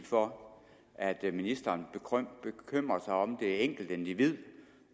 for at ministeren bekymrer sig om det enkelte individ